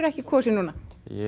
ekki kosið núna